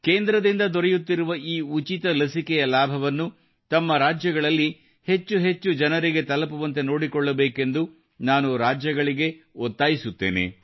ಕೇಂದ್ರದಿಂದ ದೊರೆಯುತ್ತಿರುವ ಈ ಉಚಿತ ಲಸಿಕೆಯ ಲಾಭವನ್ನು ತಮ್ಮ ರಾಜ್ಯಗಳಲ್ಲಿ ಹೆಚ್ಚು ಹೆಚ್ಚು ಜನರಿಗೆ ತಲುಪುವಂತೆ ನೋಡಿಕೊಳ್ಳಬೇಕೆಂದು ನಾನು ರಾಜ್ಯಗಳಿಗೆ ಒತ್ತಾಯಿಸುತ್ತೇನೆ